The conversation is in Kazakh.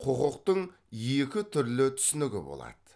құқықтың екі түрлі түсінігі болады